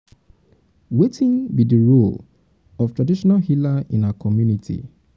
wetin be di role um of traditional healer in um our community?